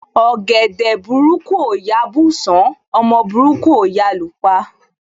Ọ̀gẹ̀dẹ̀ burúkú ò yá bùsán, ọmọ burúkú ò yá lú pa.